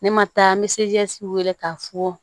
Ne ma taa n bɛ se wele k'a fɔ